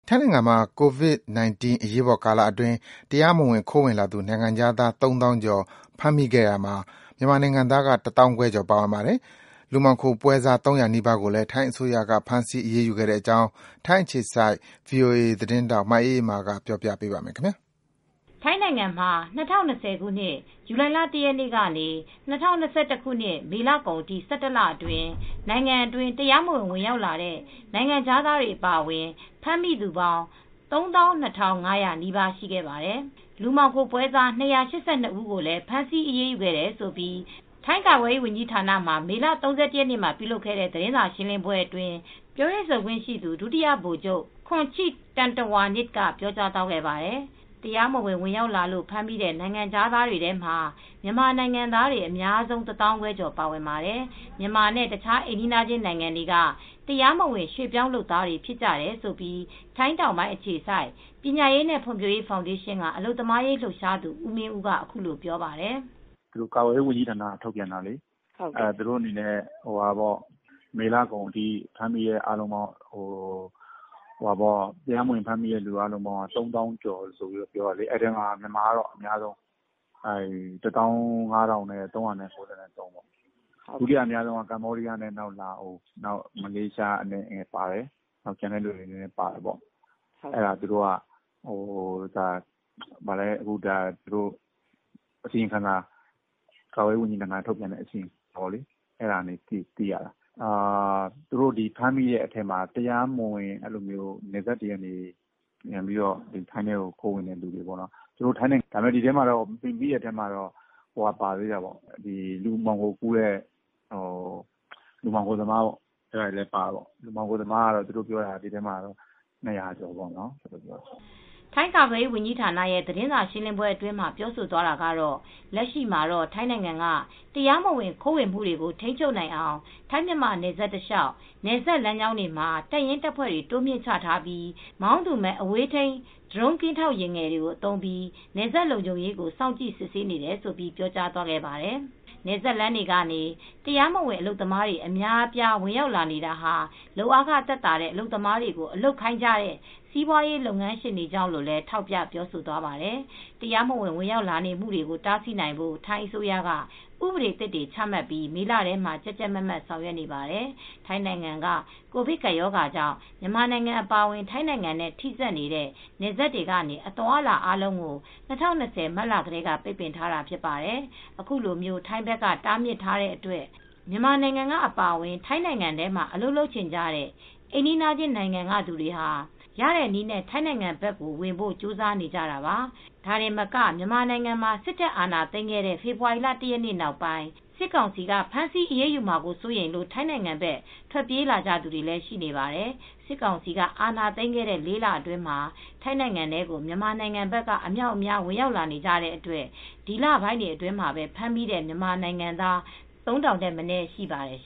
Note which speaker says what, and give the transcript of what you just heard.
Speaker 1: ထိုင်းနိုင်ငံမှာ ကိုဗစ်-၁၉ အရေးပေါ်ကာလအတွင်း တရားမဝင်ခိုးဝင်လာသူ နိုင်ငံခြားသား ၃၀,၀၀၀ ကျော် ဖမ်းမိခဲ့ရာမှာ မြန်မာနိုင်ငံသားက ၁၅,၀၀၀ ကျော်ပါဝင်ပါတယ်။ လူမှောင်ခိုပွဲစား ၃၀၀ နီးပါးကိုလည်း ထိုင်းအစိုးရက ဖမ်းဆီးအရေးယူခဲ့တဲ့အကြောင်း ထိုင်းအခြေစိုက် ဗွီအိုအေ သတင်းထောက် မအေးအေးမာက ပြောပြပေးမှာပါ။
Speaker 2: ထိုင်းနိုင်ငံမှာ ၂၀၂၀ ဇူလိုင် ၁ ရက်နေ့ကနေ ၂၀၂၁ မေလ ကုန်အထိ ၁၁ လအတွင်း နိုင်ငံအတွင်း တရားမဝင် ဝင်ရောက်လာတဲ့ နိုင်ငံခြားသားအပါအဝင် ဖမ်းမိသူပေါင်း ၃၂,၅၀၀ နီးပါးရှိခဲ့ပါတယ်။ လူမှောင်ခိုပွဲစား ၂၈၂ ဦးကိုလည်း ဖမ်းဆီးအရေးယူခဲ့တယ်လို့ ထိုင်းကာကွယ်ရေးဝန်ကြီးဌာနမှာ မေလ ၃၁ ရက်နေ့က ပြုလုပ်ခဲ့တဲ့ သတင်းစာရှင်းလင်းပွဲအတွင်း ပြောရေးဆိုခွင့်ရှိသူ ဒုတိယ ဗိုလ်ချုပ် Khoncheep Tantrawanich က ပြောကြားသွားခဲ့ပါတယ်။ တရားမဝင် ဝင်ရောက်လာလို့ ဖမ်းမိတဲ့ နိုင်ငံခြားတွေထဲမှာ မြန်မာနိုင်ငံသားတွေ အများဆုံး ၁၅,၀၀၀ ကျော်ပါဝင်ပါတယ်။ မြန်မာနဲ့ တခြားအိမ်နီးချင်းနိုင်ငံတွေက တရားမဝင် ရွှေ့ပြောင်းလုပ်သားတွေ ဖြစ်ကြတယ်လို့ ထိုင်းတောင်ပိုင်း အခြေစိုက် ပညာရေးနဲ့ ဖွံ့ဖြိုးရေးဖောင်ဒေးရှင်းက အလုပ်သမားရေးလှုပ်ရှားသူ ဦးမင်းဦးက အခုလိုပြောပါတယ်
Speaker 1: ။ "ကာကွယ်ရေးဝန်ကြီးဌာနက ထုတ်ပြန်ထားတဲ့ မေလကုန်ထိ တရားမဝင် ဖမ်းမိသူအားလုံးပေါင်းက ၃၀,၀၀၀ ကျော်တယ် ဒီထဲမှာမြန်မာကတော့အများဆုံးပါတယ် ၁၅,၃၉၃ ပေါ့ ဒုတိယအများဆုံးက ကမ္ဘောဒီးယားနဲ့ လာအိုဝ် မလေးရှားလည်း နည်းနည်းပါတယ်။ ကျန်တဲ့နိုင်ငံသားလည်း ပါတယ်။ ကာကွယ်ရေးဝန်ကြီးဌာနက ထုတ်ပြန်တဲ့ အစီရင်ခံစာအရသိရတာ သူတို့ ဖမ်းမိတဲ့အထဲမှာ နယ်စပ်တွေက တရားမဝင်ခိုးဝင်လို့ ဖမ်းမိတာ ဒီထဲမှာလူမှောင်ခိုသမားတွေလည်း ပါတယ်။ မှောင်ခိုသမားကတော့လူ ၂၀၀ ကျော်ပါတယ်။"
Speaker 2: ထိုင်းကာကွယ်ရေးဝန်ကြီးဌာနရဲ့သတင်းစာရှင်းလင်းပွဲအတွင်းမှာ ပြောဆိုသွားတာကတော့ လက်ရှိမှာတော့ ထိုင်းနိုင်ငံက တရားမဝင်ခိုးဝင်မှုတွေကို ထိန်းချုပ်နိုင်အောင် ထိုင်းမြန်မာနယ်စပ်တလျှောက် နယ်စပ်လမ်းကြောင်းတွေမှာ တပ်ရင်းတပ်ဖွဲ့တွေ တိုးမြှင့်ချထားပြီး မောင်းသူမဲ့ အဝေးထိန်း ဒရုန်းကင်းထောက်ယာဉ်ငယ်တွေ သုံးပြီး နယ်စပ်လုံခြုံရေးကို စောင်ကြည့် စစ်ဆေးနေတယ်လို့ ပြောကြားသွားပါတယ်။ နယ်စပ်လမ်းတွေကနေ တရားမဝင်အလုပ်သမားတွေ အများအပြား ဝင်ရောက်လာနေတာဟာ လုပ်အားခ သက်သာတဲ့ အလုပ်သမားတွေကို အလုပ်ခိုင်းနေကြတဲ့ စီးပွားရေးလုပ်ငန်းရှင်တွေကြောင့်လို့လည်း ထောက်ပြပြောသွားပါတယ်။ တရားမဝင် ဝင်ရောက်လာနေမှုကို တားဆီးနိုင်ဖို့ ထိုင်းအစိုးရက ဥပဒေသစ်တွေ ချမှတ်ပြီး မေလထဲက ကြပ်ကြပ်မတ်မတ် ဆောင်ရွက်နေပါတယ်။ ထိုင်းနိုင်ငံက ကိုဗစ်ကပ်ရောဂါကြောင့် မြန်မာနိုင်ငံအပါအဝင် ထိုင်းနိုင်ငံနဲ့ ထိဆက်နေတဲ့ နယ်စပ်တွေကနေ အသွားအလာအားလုံးကို ၂၀၂၀ မတ်လထဲက ပိတ်ပင်ထားတာဖြစ်ပါတယ်။ ခုလို ထိုင်းဘက်က တားမြစ်ထားတဲ့အတွက် မြန်မာနိုင်ငံက အပါအဝင် ထိုင်းနိုင်ငံထဲမှာ အလုပ်လုပ်ချင်ကြတဲ့ အိမ်နီးချင်းနိုင်ငံကသူတွေဟာ ရတဲ့နည်းနဲ့ ထိုင်းနိုင်ငံဘက် ဝင်ဖို့ ကြိုးစားနေကြတာပါ၊ ဒါတင်မက မြန်မာနိုင်ငံမှာ စစ်တပ်အာဏာသိမ်းခဲ့တဲ့ ဖေဖော်ဝါရီလ ၁ ရက်နေ့ နောက်ပိုင်း စစ်ကောင်စီက ဖမ်းဆီးအရေးယူမှာ စိုးရိမ်လို့ ထိုင်းနိုင်ငံဘက် ထွက်ပြေးလာကြသူတွေလည်း ရှိနေပါတယ်။ စစ်ကောင်စီက အာဏာသိမ်းခဲ့တဲ့ ၄ လအတွင်းမှာ ထိုင်းနိုင်ငံထဲကို မြန်မာနိုင်ငံဘက်က အမြောက်အများ ဝင်ရောက်နေကြတဲ့အတွက် ဒီလပိုင်းတွေအတွင်းမှာပဲ ဖမ်းမိတဲ့ မြန်မာနိုင်ငံသား ၃,၀၀၀ ထက်မနည်း ရှိပါတယ်။